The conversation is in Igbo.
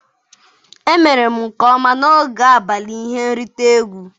Emere m nke ọma n'oge abalị ihe nrite egwu?